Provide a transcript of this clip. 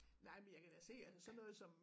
Nej men jeg kan da se altså sådan noget som